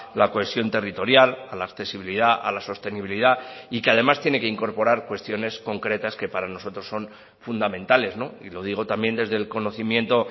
la cohesión territorial a la accesibilidad a la sostenibilidad y que además tiene que incorporar cuestiones concretas que para nosotros son fundamentales y lo digo también desde el conocimiento